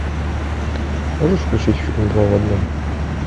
можешь включить фильм два в одном